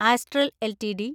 astral LTD